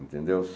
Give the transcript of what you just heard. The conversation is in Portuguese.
Entendeu?